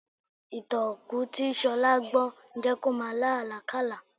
Ìtàn òkú tí Ṣọlá gbọ́ ń jẹ́ kí ó máa lá àlákálàá